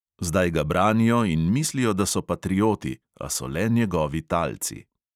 Zdaj ga branijo in mislijo, da so patrioti, a so le njegovi talci.